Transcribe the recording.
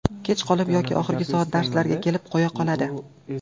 Kech qolib yoki oxirgi soat darslarga kelib qo‘ya qoladi.